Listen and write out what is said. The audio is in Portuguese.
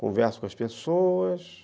Converso com as pessoas.